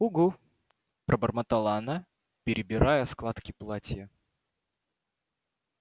угу пробормотала она перебирая складки платья